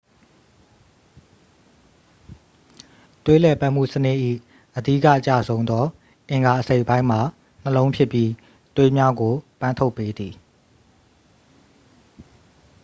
သွေးလှည့်ပတ်မှုစနစ်၏ အဓိက အကျဆုံးသော အင်္ဂါအစိတ်အပိုင်းမှာ နှလုံးဖြစ်ပြီး သွေးများကို ပန်းထုတ်ပေးသည်